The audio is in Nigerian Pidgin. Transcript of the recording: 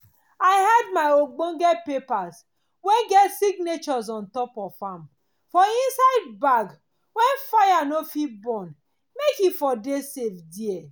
i hide my ogbonge papers wen get signatures ontop of am for inside bag wen fire nor fit burn make e for dey safe deir